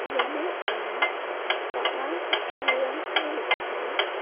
iano anga bang·a kutturirangko nikaha.